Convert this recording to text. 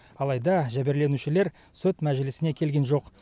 алайда жәбірленушілер сот мәжілісіне келген жоқ